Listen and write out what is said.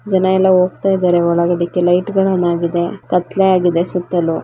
ಜನ ಎಲ್ಲ ಹೋಗ್ತಾ ಇದಾರೆ ಒಳಗಡಿಕೆ ಲೈಟ್ಸ್ ಗಳು ಆನ್ ಆಗಿದೆ ಕತ್ಲೇ ಆಗಿದೆ ಸುತ್ತಲೂ.